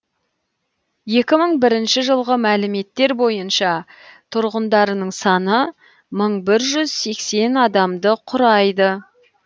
екі мың бірінші жылғы мәліметтер бойынша тұрғындарының саны мың бір жүз сексен адамды құрайды